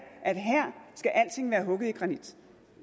skal alting være hugget i granit